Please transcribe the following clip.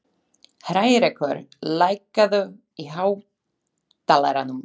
Hrærekur, lækkaðu í hátalaranum.